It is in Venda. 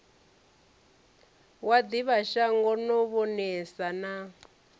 wa ḓivhashango no vhonesa na